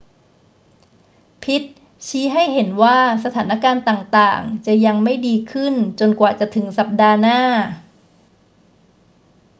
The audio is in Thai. พิตต์ชี้ให้เห็นว่าสถานการณ์ต่าง ๆ จะยังไม่ดีขึ้นจนกว่าจะถึงสัปดาห์หน้า